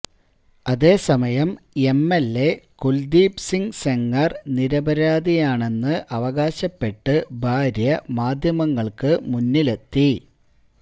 അതേസമയം എംഎല്എ കുല്ദീപ് സിങ് സെംഗര് നിരപരാധിയാണെന്ന് അവകാശപ്പെട്ട് ഭാര്യ മാധ്യമങ്ങള്ക്കു മുന്നിലെത്തി